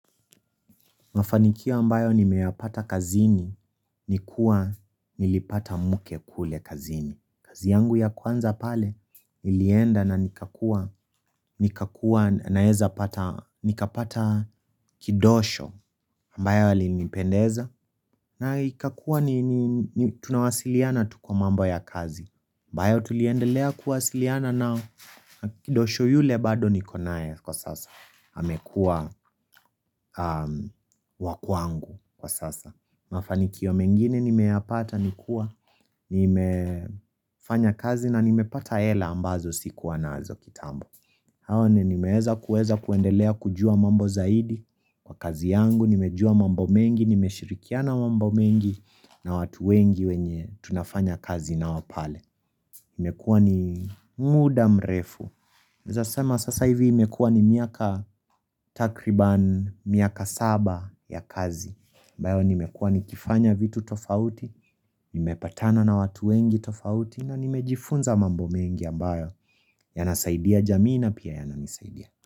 Mafanikio ambayo nimeyapata kazini, ni kuwa nilipata mke kule kazini. Kazi yangu ya kwanza pale, ilienda na nikakua, nikakua naeza pata, nikapata kidosho ambaye alinipendeza. Na ikakua ni tunawasiliana tu kwa mambo ya kazi. Ambayo tuliendelea kuwasiliana nao na kidosho yule bado niko naye kwa sasa. Amekua wakwangu kwa sasa Mafanikio mengine nimeyapata nikuwa nimefanya kazi na nimepata hela ambazo sikuwa naazo kitambo Hawa ni nimeeza kuweza kuendelea kujua mambo zaidi Kwa kazi yangu, nimejua mambo mengi, nimeshirikiana mambo mengi na watu wengi wenye tunafanya kazi nao pale Nimekuwa ni muda mrefu unaezasema sasa hivi imekuwa ni miaka takriban miaka saba ya kazi ambayo nimekuwa nikifanya vitu tofauti, nimepatana na watu wengi tofauti na nimejifunza mambo mengi ambayo yanasaidia jamii na pia yananisaidia.